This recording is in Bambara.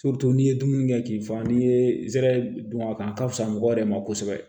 n'i ye dumuni kɛ k'i fa n'i ye zɛrɛ dun a kan a ka fisa mɔgɔw yɛrɛ ma kosɛbɛ